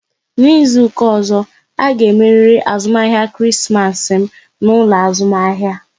N'izuka ọzọ, a ga emeriri azụmahịa Krismas m n'ụlọ azụmahịa!